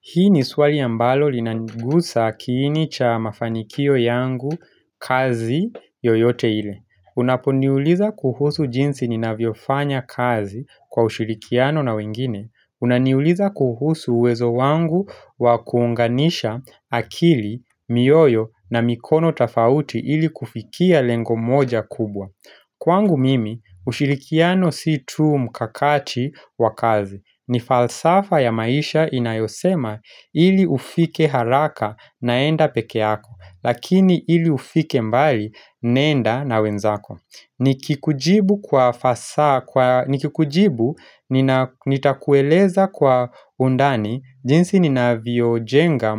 Hii ni swali ambalo linanigusa akilini cha mafanikio yangu kazi yoyote ile. Unaponiuliza kuhusu jinsi ninavyofanya kazi kwa ushirikiano na wengine. Unaniuliza kuhusu uwezo wangu wa kuunganisha akili, mioyo na mikono tafauti ili kufikia lengo moja kubwa. Kwangu mimi, ushirikiano si tu mkakati wa kazi. Ni falsafa ya maisha inayosema ili ufike haraka naenda peke yako Lakini ili ufike mbali nenda na wenzako Nikikujibu nitakueleza kwa undani jinsi ni navyojenga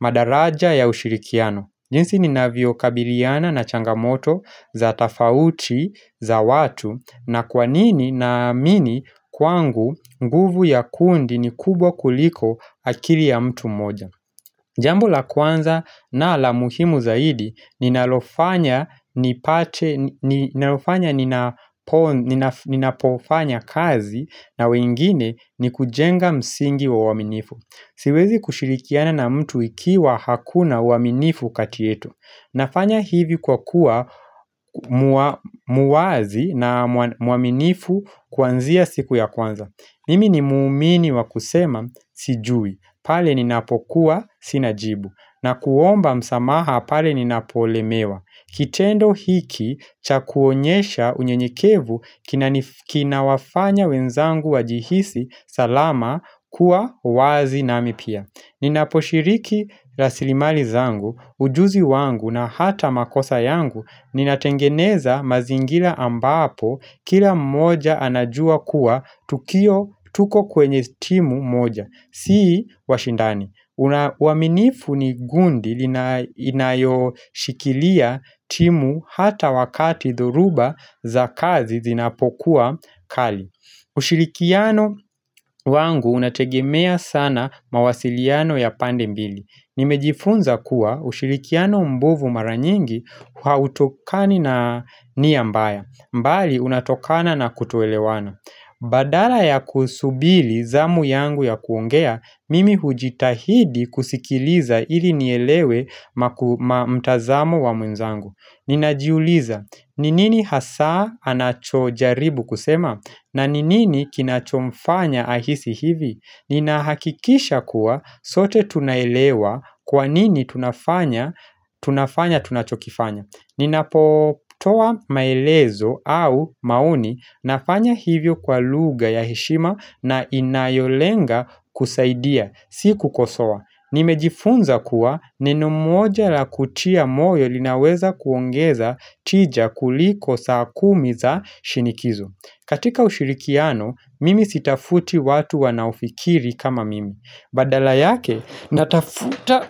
madaraja ya ushirikiano jinsi ninavyokabiliana na changamoto za tafauti za watu na kwa nini naamini kwangu nguvu ya kundi ni kubwa kuliko akili ya mtu mmoja Jambo la kwanza na la muhimu zaidi ninalofanya ninapofanya kazi na wengine ni kujenga msingi wa uaminifu Siwezi kushirikiana na mtu ikiwa hakuna uaminifu kati yetu Nafanya hivi kwa kuwa mwazi na mwaminifu kuanzia siku ya kwanza Mimi ni muumini wa kusema sijui, pale ninapokuwa sina jibu na kuomba msamaha pale ninapolemewa Kitendo hiki cha kuonyesha unyenyekevu kinawafanya wenzangu wajihisi salama kuwa wazi nami pia Ninaposhiriki rasilimali zangu, ujuzi wangu na hata makosa yangu, ninatengeneza mazingira ambapo kila mmoja anajua kuwa tukio tuko kwenye timu moja, sii washindani uaminifu ni gundi inayoshikilia timu hata wakati dhoruba za kazi zinapokuwa kali ushirikiano wangu unategemea sana mawasiliano ya pande mbili Nimejifunza kuwa ushirikiano mbovu mara nyingi hautokani na nia mbaya mbali unatokana na kutoelewana Badala ya kusubili zamu yangu ya kuongea Mimi hujitahidi kusikiliza ili nielewe mtazamo wa mwenzangu Ninajiuliza, ni nini hasaa anachojaribu kusema na ni nini kinachomfanya ahisi hivi? Ninahakikisha kuwa sote tunaelewa kwa nini tunafanya tunachokifanya. Ninapotoa maelezo au maoni nafanya hivyo kwa lugha ya heshima na inayolenga kusaidia, si kukosoa. Nimejifunza kuwa neno moja la kutia moyo linaweza kuongeza tija kuliko saa kumi za shinikizo. Katika ushirikiano mimi sitafuti watu wanaofikiri kama mimi Badala yake natafuta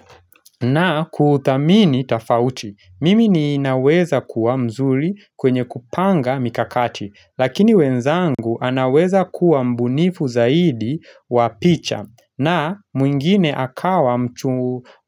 na kuthamini tafauti Mimi ninaweza kuwa mzuri kwenye kupanga mikakati Lakini wenzangu anaweza kuwa mbunifu zaidi wa picha na mwingine akawa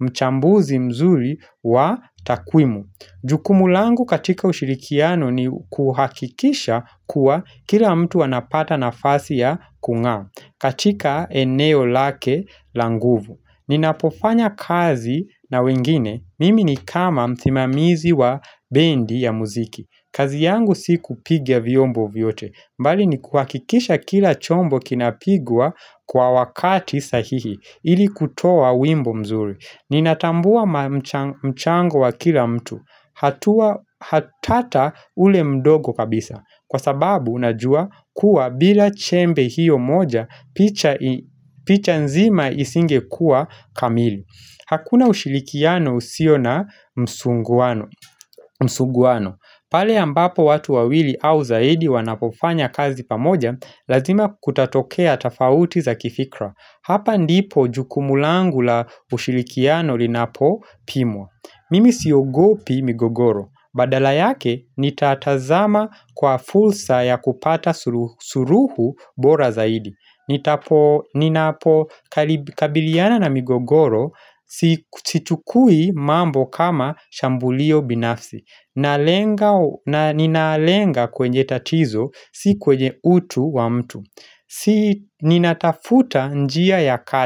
mchambuzi mzuri wa takwimu Jukumu langu katika ushirikiano ni kuhakikisha kuwa kila mtu anapata nafasi ya kung'aa katika eneo lake la nguvu. Ninapofanya kazi na wengine mimi ni kama msimamizi wa bendi ya muziki. Kazi yangu si kupiga vyombo vyote. Mbali ni kuhakikisha kila chombo kinapigwa kwa wakati sahihi ili kutoa wimbo mzuri. Ninatambua mchango wa kila mtu. Hatata ule mdogo kabisa Kwa sababu unajua kuwa bila chembe hiyo moja picha nzima isingekua kamili Hakuna ushilikiano usio na msuguano pale ambapo watu wawili au zaidi wanapofanya kazi pamoja Lazima kutatokea tafauti za kifikra Hapa ndipo jukumu langu la ushirikiano linapopimwa Mimi siogopi migogoro, badala yake nitatazama kwa fulsa ya kupata suruhu bora zaidi Ninapokabiliana na migogoro sichukui mambo kama shambulio binafsi Ninalenga kwenye tatizo, si kwenye utu wa mtu Ninatafuta njia ya kati.